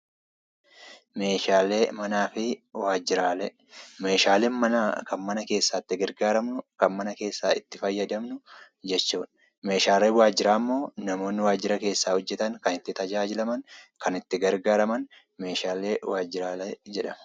Meeshaalee manaa fi waajjiraalee. Meeshaalee manaa fi waajjiraalee kan jedhaman; meeshaaleen mana keessaa kan mana keessaa itti tajaajilaman yammuu ta'u meeshaaleen waajjira keessaa immoo kan waajjira keessatti itti tajaajilamanii dha.